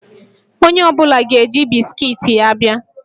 Onye ọ bụla ga-eji bisikiiti ya a bịa